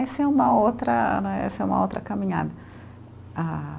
Essa é uma outra né, essa é uma outra caminhada a.